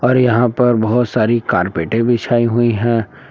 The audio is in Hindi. और यहां पर बहोत सारी कार्पेटे बिछाई हुई है।